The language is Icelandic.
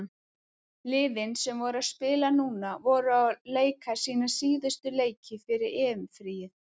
Liðin sem voru að spila núna voru að leika sína síðustu leiki fyrir EM-fríið.